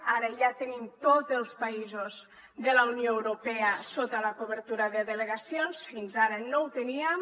ara ja tenim tots els països de la unió europea sota la cobertura de delegacions fins ara no ho teníem